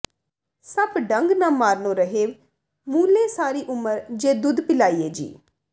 ਸੱਪ ਡੰਗ ਨਾ ਮਾਰਨੋਂ ਰਹੇ ਮੂਲੇ ਸਾਰੀ ਉਮਰ ਜੇ ਦੁੱਧ ਪਿਲਾਈਏ ਜੀ